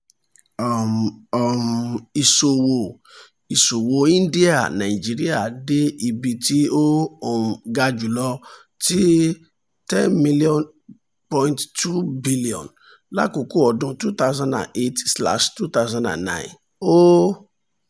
um um iṣowo iṣowo india-nigeria de ibi ti o um ga julọ ti ten million point two billion lakoko ọdun two thousand and eight slash two thousand and nine o